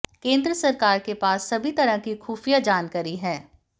केंद्र सरकार के पास सभी तरह की खुफिया जानकारी है